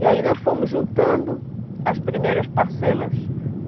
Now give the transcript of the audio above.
E aí nós fomos juntando as primeiras parcelas.